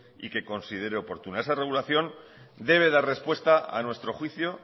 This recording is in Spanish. y que considere oportuno esa regulación debe dar respuesta a nuestro juicio